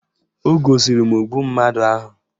O gosiri m ogbu mmadụ ahụ